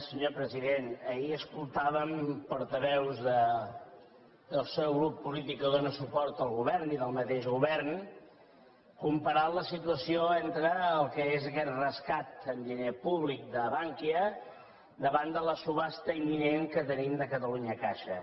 senyor president ahir escoltàvem portaveus del seu grup polític que dóna suport al govern i del mateix govern comparant la situació entre el que és aquest rescat amb diner públic de bankia i la subhasta imminent que tenim de catalunya caixa